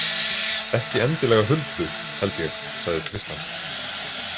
Ekki endilega Huldu, held ég, sagði Tristan.